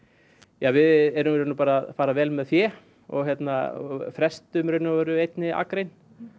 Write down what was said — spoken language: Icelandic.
við erum í rauninni bara að fara vel með fé og hérna frestum í raun og veru einni akrein